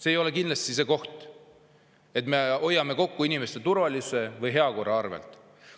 See ei ole kindlasti õige, kui me hoiame kokku inimeste turvalisuse või heakorra arvelt.